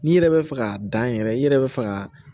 N'i yɛrɛ bɛ fɛ k'a dan yɛrɛ i yɛrɛ bɛ fɛ ka